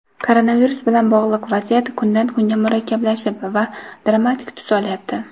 Koronavirus bilan bog‘liq vaziyat kundan kunga murakkablashib va dramatik tus olyapti.